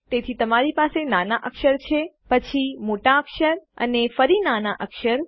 તેથી તમારી પાસે નાના અક્ષર છેપછી મોટા અક્ષર અને ફરી નાના અક્ષર